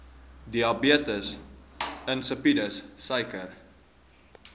diabetes insipidus suiker